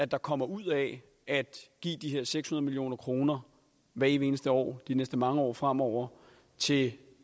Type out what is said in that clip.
der kommer ud af at give de her seks hundrede million kroner hvert evig eneste år de næste mange år fremover til